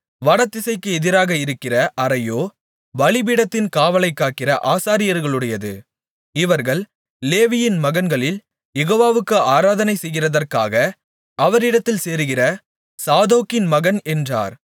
வடதிசைக்கு எதிராக இருக்கிற அறையோ பலிபீடத்தின் காவலைக்காக்கிற ஆசாரியர்களுடையது இவர்கள் லேவியின் மகன்களில் யெகோவாவுக்கு ஆராதனைசெய்கிறதற்காக அவரிடத்தில் சேருகிற சாதோக்கின் மகன் என்றார்